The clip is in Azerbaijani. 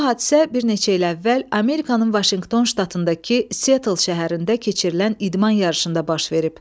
Bu hadisə bir neçə il əvvəl Amerikanın Vaşinqton ştatındakı Seattle şəhərində keçirilən idman yarışında baş verib.